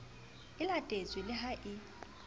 e latetswe le ha e